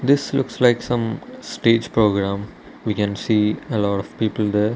this looks like some stage program we can see a lot of people there.